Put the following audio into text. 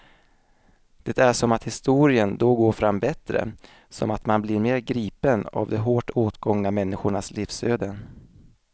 Det är som att historien då går fram bättre, som att man blir mer gripen av de hårt åtgångna människornas livsöden.